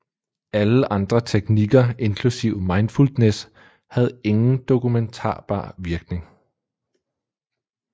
Alle andre teknikker inklusive Mindfulness havde ingen dokumentarbar virkning